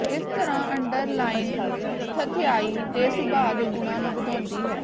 ਇਸ ਤਰ੍ਹਾਂ ਅੰਡਰਲਾਈਮ ਥੰਧਿਆਈ ਦੇ ਸੁਭਾਅ ਦੇ ਗੁਣਾਂ ਨੂੰ ਵਧਾਉਂਦੀ ਹੈ